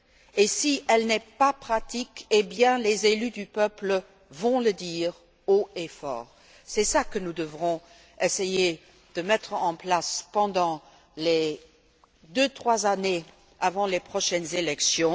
Et si elle n'est pas mise en pratique, les élus du peuple vont le dire haut et fort. C'est cela que nous devrons essayer de mettre en place pendant les deux trois années qui précèderont les prochaines élections.